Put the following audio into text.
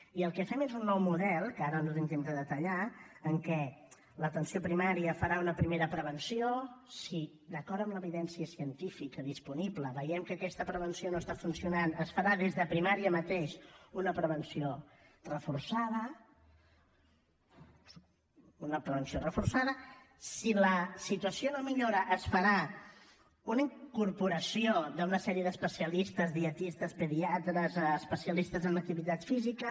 i el que fem és un nou model que ara no tinc temps de detallar en què l’atenció primària farà una primera prevenció si d’acord amb l’evidència científica disponible veiem que aquesta prevenció no està funcionant es farà des de primària mateix una prevenció reforçada si la situació no millora es farà una incorporació d’una sèrie d’especialistes dietistes pediatres especialistes en activitat física